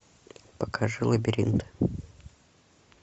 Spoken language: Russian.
покажи лабиринт